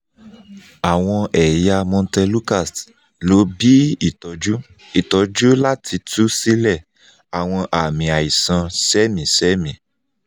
awọn ẹya montelukast – lo bi itọju itọju lati tu silẹ awọn aami aisan semisemi